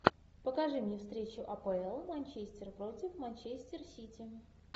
покажи мне встречу апл манчестер против манчестер сити